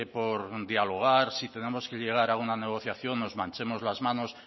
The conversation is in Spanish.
por dialogar si tenemos que llegar a una negociación nos manchemos las manos